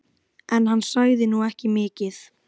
En hann sagði nú ekki mikið.